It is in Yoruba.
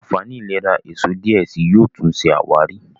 ànfàní ìlera èsó diẹ síi yóò tún ṣe àwárí.